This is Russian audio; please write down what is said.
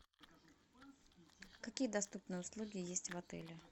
какие доступные услуги есть в отеле